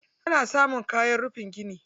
Ana samun kwanon rufin gida.